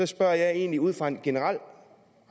spørger jeg egentlig ud fra en generel